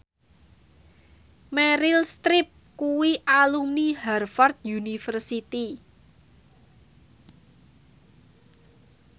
Meryl Streep kuwi alumni Harvard university